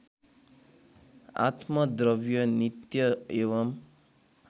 आत्मद्रव्य नित्य एवं